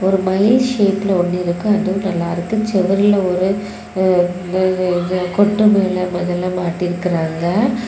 ஒரு மயில் ஷேப்ல ஒன்னு இருக்கு அதுவும் நல்லா இருக்கு செவர்ல ஒரு இது இது ஒரு கொட்டு மேளம் அதுல மாட்டி இருக்காங்க.